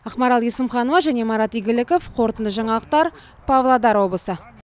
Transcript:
ақмарал есімханова және марат игіліков қорытынды жаңалықтар павлодар облысы